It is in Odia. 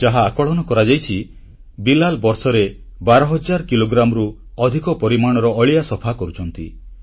ଯାହା ଆକଳନ କରାଯାଇଛି ବିଲାଲ ବର୍ଷରେ 12 ହଜାର କିଲୋଗ୍ରାମରୁ ଅଧିକ ପରିମାଣର ଅଳିଆ ସଫା କରୁଛନ୍ତି